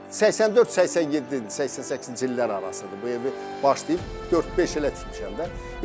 84-87, 88-ci illər arası bu evi başlayıb dörd-beş ilə tikmişəm də.